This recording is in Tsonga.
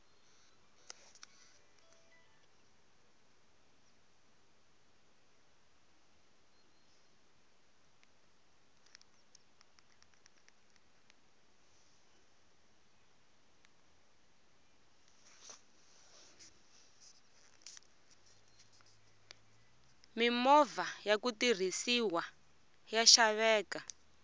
mimovha yaku tirhisiwa ya xaveka